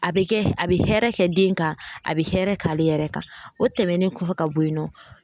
A bɛ kɛ a bɛ hɛrɛ kɛ den kan a bɛ hɛrɛ k'ale yɛrɛ kan o tɛmɛnen kɔfɛ ka bɔ ye nɔ.